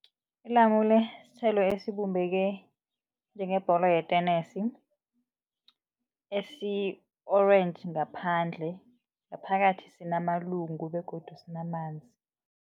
Ilamule sithelo esibumbeke njengebholo yetenesi esi-orange ngaphandle ngaphakathi sinamalungu begodu sinamanzi.